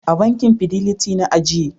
A bankin Fidiliti na aje.